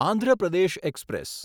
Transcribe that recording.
Andhra Pradesh express